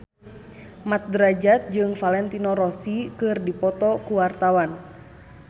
Mat Drajat jeung Valentino Rossi keur dipoto ku wartawan